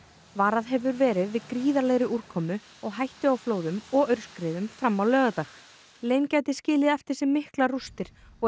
varað hefur verið gríðarlegri úrkomu og hættu á flóðum og aurskriðum fram á laugardag gæti skilið eftir sig miklar rústir og er